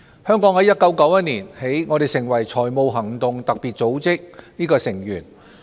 香港於1991年起成為財務行動特別組織的成員。